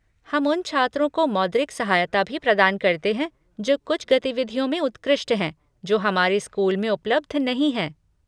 हम उन छात्रों को मौद्रिक सहायता भी प्रदान करते हैं जो कुछ गतिविधियों में उत्कृष्ट हैं जो हमारे स्कूल में उपलब्ध नहीं हैं।